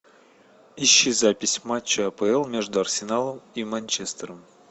ищи запись матча апл между арсеналом и манчестером